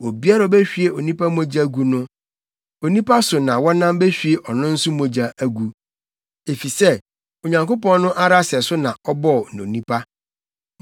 “Obiara a ohwie onipa mogya gu no, onipa so na wɔnam behwie ɔno nso mogya agu, efisɛ Onyankopɔn no ara sɛso na ɔbɔɔ onipa.